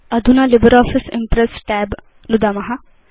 अधुना LibreOffice Impress tab नुदाम